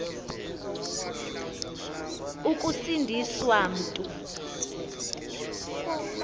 ukusindi swa mntu